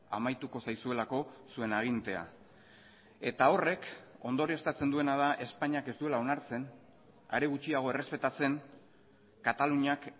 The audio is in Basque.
amaituko zaizuelako zuen agintea eta horrek ondorioztatzen duena da espainiak ez duela onartzen are gutxiago errespetatzen kataluniak